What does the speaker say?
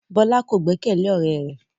Bola ko gbẹkẹle ọrẹ rẹ